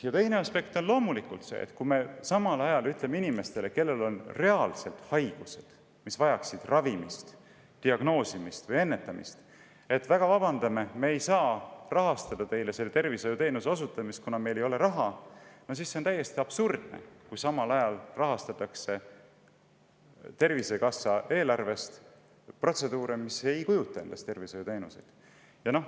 Ja teine aspekt on loomulikult see, et kui me ütleme inimestele, kellel on reaalsed haigused, mis vajavad ravi, diagnoosi või ennetust, et vabandage, me ei saa teile tervishoiuteenust osutada, kuna meil ei ole raha, siis on see täiesti absurdne, kui samal ajal rahastatakse Tervisekassa eelarvest protseduure, mis ei kujuta endast tervishoiuteenuseid.